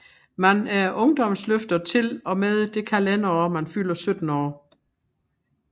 Man er ungdomsløfter til og med det kalenderår man fylder 17 år